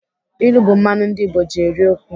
Ilu bụ mmanụ ndị Igbo ji eri okwu.